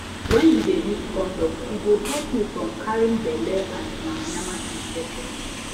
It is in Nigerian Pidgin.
when u de use condom e go help you from carrying belle and yama yama infection